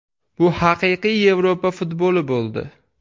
Bu haqiqiy Yevropa futboli bo‘ldi.